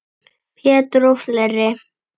Pétur og fleiri.